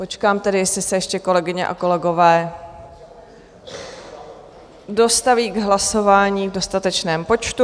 Počkám tedy, jestli se ještě kolegyně a kolegové dostaví k hlasování v dostatečném počtu.